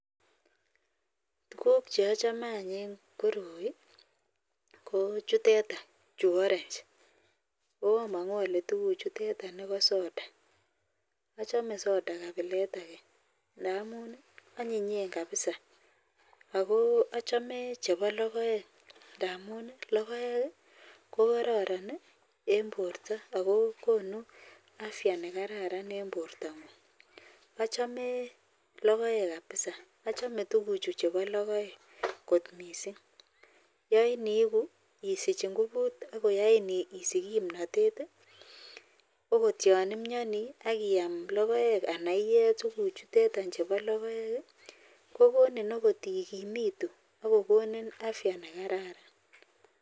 Tuguk cheachame en ireyu konkoroi kochuteton orange ako amangu tuguk chuton ko sodaachome soda kabilet ntamun anyinyen kabisa akochame chebo logoek ntamun logoek kokararan en borta akokonu afya nekararan en borta ngung achome logoek kabisa achame tuguk Chu chebo logoek kot mising yain isich ngubut akoyain isich kimnatet okot yanimyani Akiyam logoek anan iye tuguk chutetan chebologoek kokoninokot ikimitu akokonin afya nekararan